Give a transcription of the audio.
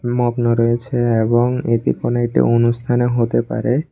মগ্ন রয়েছে এবং এটি কোনো একটি অনুষ্ঠানে হতে পারে।